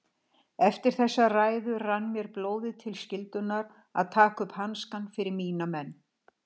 Eftir þessa ræðu rann mér blóðið til skyldunnar að taka upp hanskann fyrir mína menn.